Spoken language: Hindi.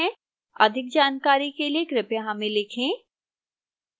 अधिक जानकारी के लिए कृपया हमें लिखें